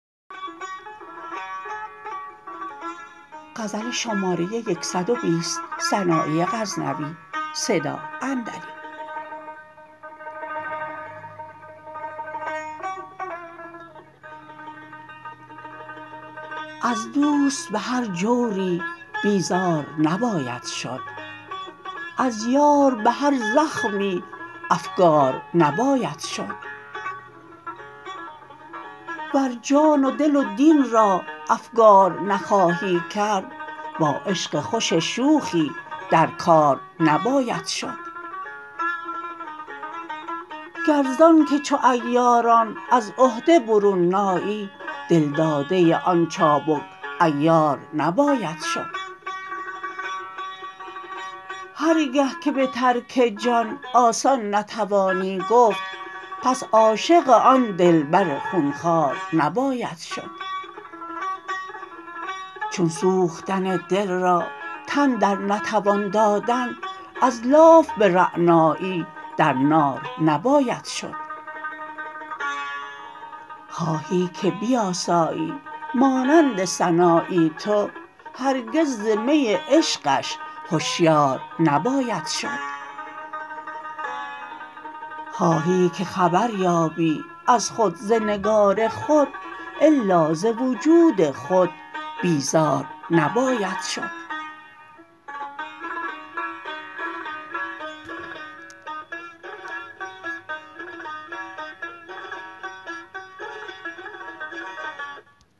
از دوست به هر جوری بیزار نباید شد از یار به هر زخمی افگار نباید شد ور جان و دل و دین را افگار نخواهی کرد با عشق خوش شوخی در کار نباید شد گر زان که چو عیاران از عهده برون نایی دل داده آن چابک عیار نباید شد هر گه که به ترک جان آسان نتوانی گفت پس عاشق آن دلبر خون خوار نباید شد چون سوختن دل را تن در نتوان دادن از لاف به رعنایی در نار نباید شد خواهی که بیآسایی مانند سنایی تو هرگز ز می عشقش هشیار نباید شد خواهی که خبر یابی از خود ز نگار خود الا ز وجود خود بیزار نباید شد